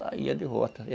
Lá ia de volta.